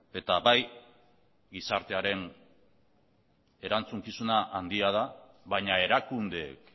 eta bai gizartearen erantzukizuna handia da baina erakundeek